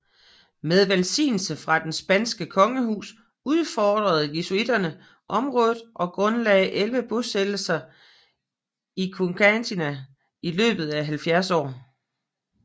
Med velsignelse fra det spanske kongehus udforskede jesuitterne området og grundlagde elleve bosættelser i Chiquitanía i løbet af 70 år